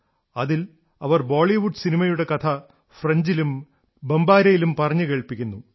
അതിൽ അവർ ബോളിവുഡ് സിനിമയുടെ കഥ ഫ്രഞ്ചിലും ബംബാരയിലും പറഞ്ഞു കേൾപ്പിക്കുന്നു